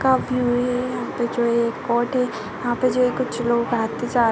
का व्यू है। यहाँ पे जो है वो कोर्ट है। यहाँ पे जो हैं कुछ लोग आते जा--